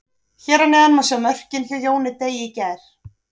Hér að neðan má sjá mörkin hjá Jóni Degi í gær.